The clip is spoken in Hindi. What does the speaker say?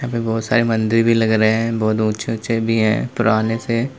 यहाँ पे बोहोत सारे मन्दिर भी लग रहे हैं बोहुत ऊंचे-ऊंचे भी हैं पुराने से।